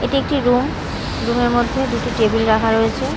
এটি একটি room room -এর মধ্যে দুটি টেবিল রাখা রয়েছে।